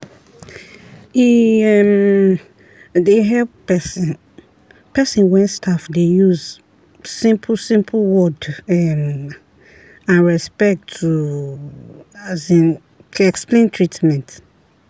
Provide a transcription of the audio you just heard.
e um dey help person person wen staff dey use simple-simple word um and respect to as in explain treatment.